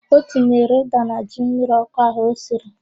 O tinyere ụ́dà na ji mmiriọ́kụ́ ahụ o siri.